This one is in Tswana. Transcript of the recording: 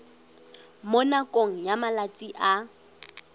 mo nakong ya malatsi a